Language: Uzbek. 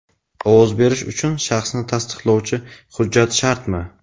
Ovoz berish uchun shaxsni tasdiqlovchi hujjat shartmi?.